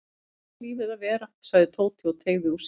Svona á lífið að vera sagði Tóti og teygði úr sér.